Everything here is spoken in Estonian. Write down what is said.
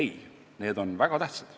Ei, need on väga tähtsad.